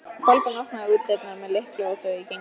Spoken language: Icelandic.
Kolbrún opnaði útidyrnar með lykli og þau gengu inn.